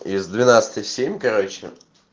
из двенадцати семь короче